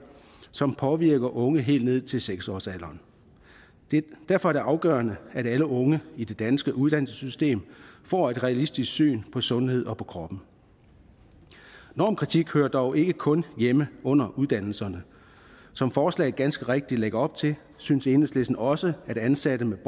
som påvirker unge helt ned til seks års alderen derfor er det afgørende at alle unge i det danske uddannelsessystem får et realistisk syn på sundhed og på krop normkritik hører dog ikke kun hjemme under uddannelserne som forslaget ganske rigtigt lægger op til synes enhedslisten også at ansatte med